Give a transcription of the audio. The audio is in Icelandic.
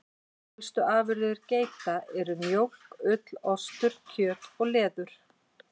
Helstu afurðir geita eru mjólk, ull, ostur, kjöt og leður.